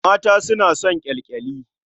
Mata suna son ƙyalƙyali.